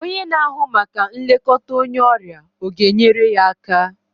Onye na-ahụ maka nlekọta onye ọrịa ọ ga-enyere ya aka?